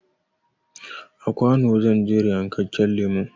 A kwano zan jera yankakken lemon